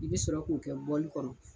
I bɛ sɔrɔ k'o kɛ kɔnɔ.